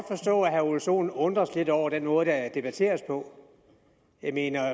forstå at herre ole sohn undres lidt over den måde der debatteres på jeg mener at